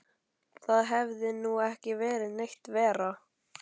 Það hefði nú ekki verið neitt verra.